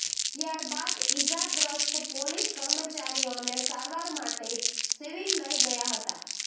ત્યારબાદ ઇજાગ્રસ્ત પોલીસ કર્મચારીઓને સારવાર માટે સિવિલ લઇ ગયાં હતાં